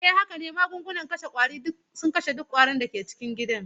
Haka ne, magungunan kashe ƙwari suna kashe duk ƙwari da ke cikin gida.